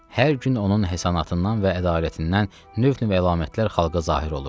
Hər gün onun həsənatından və ədalətindən növ-növ əlamətlər xalqa zahir olurdu.